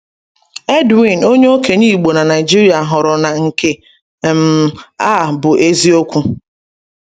Edwin, onye okenye Igbo na Naịjirịa, hụrụ na nke um a bụ eziokwu.